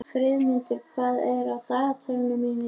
Friðmundur, hvað er á dagatalinu mínu í dag?